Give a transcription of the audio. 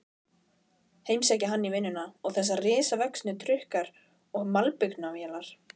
Heimsækja hann í vinnuna, þessir risavöxnu trukkar og malbikunarvélar.